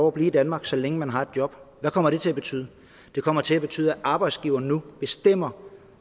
at blive i danmark så længe man har et job hvad kommer det til at betyde det kommer til at betyde at arbejdsgiveren nu bestemmer